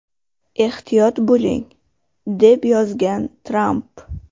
Ehtiyot bo‘ling!” deb yozgan Tramp.